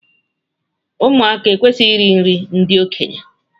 Ụmụaka ekwesịghị iri nri ndị okenye.